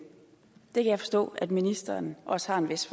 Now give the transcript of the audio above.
jeg forstå at ministeren også har en vis